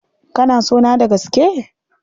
Kana sona da gaske?